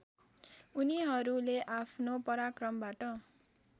उनीहरूले आफ्नो पराक्रमबाट